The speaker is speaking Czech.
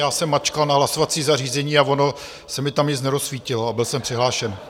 Já jsem mačkal na hlasovací zařízení a ono se mi tam nic nerozsvítilo - a byl jsem přihlášen.